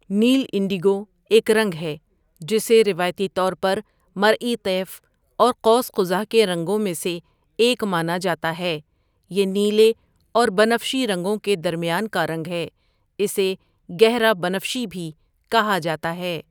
نیل indigo ایک رنگ ہے جسے روایتی طور پر مرئی طیف اور قوس قزح کے رنگوں میں سے ایک مانا جاتا ہے یہ نیلے اور بنفشی رنگوں کے درمیان کا رنگ ہے اسے گہرا بنفشی بھی کہا جاتا ہے.